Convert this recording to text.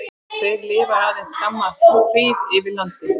Þeir lifa aðeins skamma hríð yfir landi.